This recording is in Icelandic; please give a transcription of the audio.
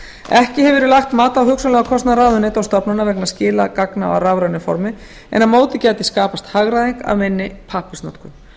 ekki hefur verið lagt mat á hugsanlegan kostnað ráðuneyta og stofnana vegna skila gagna á rafrænu form en á móti gæti skapast hagræðing af minni pappírsnotkun